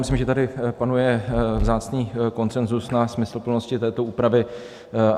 Myslím, že tady panuje vzácný konsenzus na smysluplnosti této úpravy.